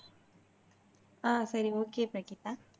ஆஹ் சரி ஒகே பிரகிதா